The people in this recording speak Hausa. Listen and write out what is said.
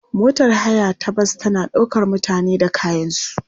Motar haya ta bas tana ɗaukar mutane da kayansu.